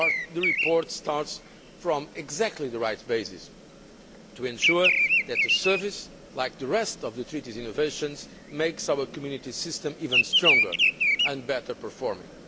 The report starts from exactly the right basis to ensure that the service, like the rest of the Treaty's innovations, makes our Community system even stronger and better performing.